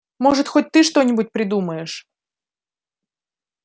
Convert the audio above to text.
может хоть ты что-нибудь придумаешь